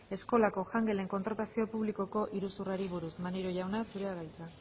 eskola jangelen kontratazio publikoko iruzurrari buruz maneiro jauna zurea da hitza